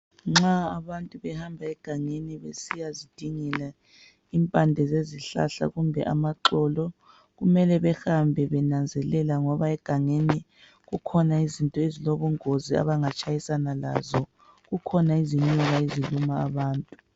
Nxa abantu behamba egangeni besiyazidingela impande zezihlahla kumbe amaxolo, kumele behambe benanzelela ngoba egangeni kukhona izinto ezilobungozi abanga tshayisana lazo. Kukhona izinyoka eziluma abantu.